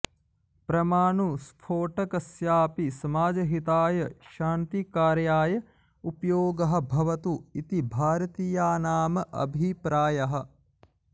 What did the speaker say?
परमाणुस्फोटकस्यापि समाजहिताय शान्तिकार्याय उपयोगः भवतु इति भारतीयानाम् अभिप्रायः